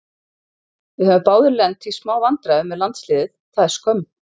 Við höfum báðir lent í smá vandræðum með landsliðið, það er skömm.